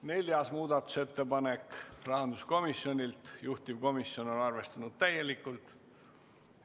Neljaski muudatusettepanek on rahanduskomisjonilt, juhtivkomisjon on arvestanud seda täielikult.